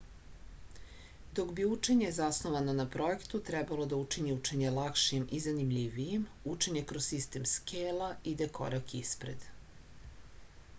dok bi učenje zasnovano na projektu trebalo da učini učenje lakšim i zanimljivijim učenje kroz sistem skela ide korak ispred